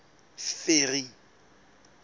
ferry